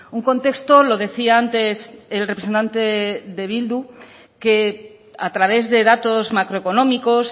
un contexto lo decía antes el representante de bildu que a través de datos macroeconómicos